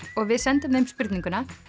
og við sendum þeim spurninguna